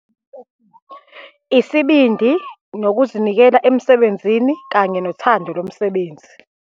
Isibindi, nokuzinikela emsebenzini, kanye nothando lomsebenzi.